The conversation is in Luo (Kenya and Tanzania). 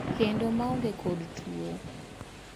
kendo maonge kod tuo.